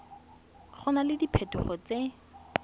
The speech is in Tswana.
go na le diphetogo tse